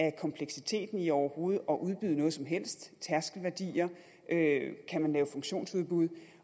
af kompleksiteten i overhovedet at udbyde noget som helst tærskelværdier kan man lave funktionsudbud